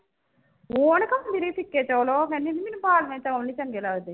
ਉਹਨੇ ਤਾਂ ਨਿਰੇ ਫ਼ਿਕੇ ਚੋਲ ਉਹ ਕਹਿੰਦੀ ਵੀ ਮੈਨੂੰ ਬਾਲਵੇਂ ਚੋਲ ਨੀ ਚੰਗੇ ਲੱਗਦੇ